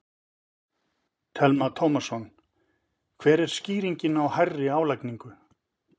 Telma Tómasson: Hver er skýringin á hærri álagningu?